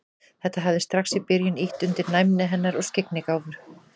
Þetta hafi strax í byrjun ýtt undir næmi hennar og skyggnigáfu.